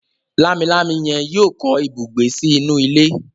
Lámilámi yen yíò kọ ibùgbé sí inú ilé.